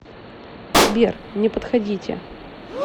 сбер не подходите